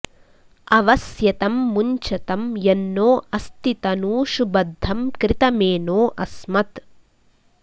अव स्यतं मुञ्चतं यन्नो अस्ति तनूषु बद्धं कृतमेनो अस्मत्